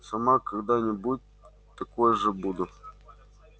сама когда-нибудь такой же буду